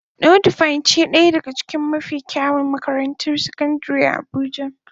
Nudivine ce daya daga cikin mafi kyawun makarantar sakandare a abuja.